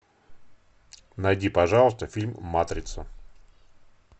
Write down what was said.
найди пожалуйста фильм матрица